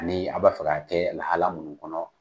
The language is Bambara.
Ani an b'a fɛ k'a kɛ lahala minnu kɔnɔ